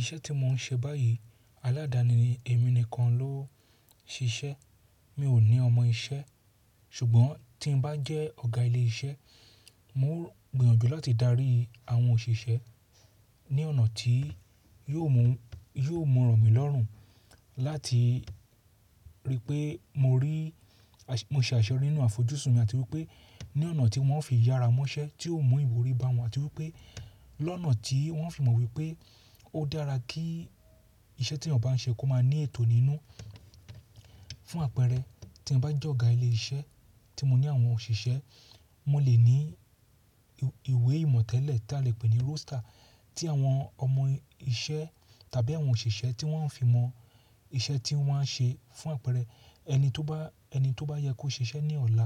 Iṣẹ́ tí mo ń ṣe báyìí aládani ni èmi nìkan ló ń ṣiṣẹ́. Mi ò ní ọmọ iṣẹ́ ṣùgbọ́n tí n bá jẹ́ ọ̀gá ilé iṣẹ́, mo gbìyànjú láti darí àwọn òṣìṣẹ́ ní ọ̀nà tí yóò mú rọ̀mí lọ́rùn láti rí pé mo rí, mo se àṣẹ re nínú àfojúsùn mi àti wípé ní ọ̀nà tí wọ́n fi yára mọ́ṣẹ́ tí ó mú ìwúrí bá wọn àti wípé lọ́nà tí wọ́n fi mọ̀ wípé ó dára kí iṣẹ́ tí ènìyàn bá ń ṣe kó má ní ètò nínú fún àpẹẹrẹ tí n bá jẹ́ ọ̀gá ilé iṣẹ́ tí mo ní àwọn òṣìṣẹ́, mo lè ní ìwé ìmọ̀tẹ́lẹ̀ tí a lè pè ní roaster tí àwọn ọmọ iṣẹ́ tàbí àwọn òṣìṣẹ́ tí wọ́n ń fi mọ iṣẹ́ tí wọ́n á ṣe fún àpẹẹrẹ eni to ba ẹni tó bá yẹ kó ṣe iṣẹ́ ní ọ̀la,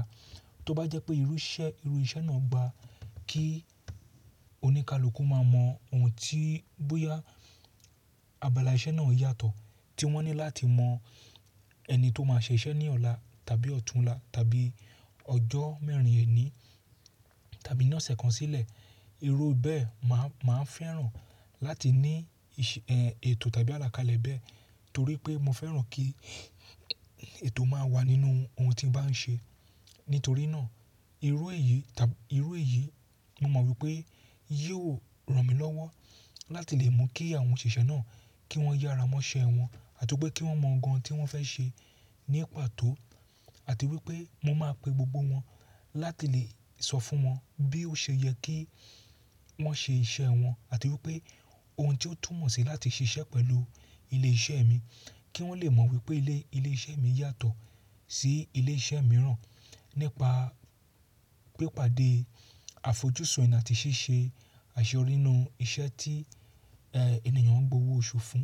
tó bá jẹ́ pé irú se iru ise náà gba kí oníkálukú má mọ ohun tí bóyá abala iṣẹ́ náà yàtọ̀ tí wọ́n ní láti mọ ẹni tó máa ṣe iṣẹ́ ní ọ̀la tàbí ọ̀túnla tàbí ọjọ́ mẹ́rin èní tàbí ní ọ̀sẹ̀ kan sílẹ̀. Irú bẹ́ẹ̀ ma mà á fẹ́ràn láti ní ètò tàbí àlàkalẹ̀ bẹ́ẹ̀ torí pé mo fẹ́ràn kí ètò má wà nínú ohun tí n bá ń ṣe. Nítorí náà irú èyí mo mọ̀ wípé yóò rọ̀mí lọ́wọ́ láti lè mu kí àwọn òṣìṣẹ́ náà kí wọ́n yára mọ́ṣẹ́ wọn àti wípé kí wọ́n mọ ohun tí wọ́n fẹ́ ṣe ní pàtó àti wípé mo máa pe gbogbo wọn láti lè sọ fún wọn bí ó ṣe yẹ kí wọ́n ṣe iṣẹ́ wọn àti wípé ohun tí ó túmọ̀ sí láti ṣe iṣẹ́ pẹ̀lú ilé iṣẹ́ mi kí wọ́n lè mọ̀ wípé ilé iṣẹ́ mi yàtọ̀ sí ilé iṣẹ́ mìíràn nípa pípàdé àfojúsùn eni àti ṣíṣe àṣẹ rí nínú iṣẹ́ tí ènìyàn ń gbowó oṣù fún.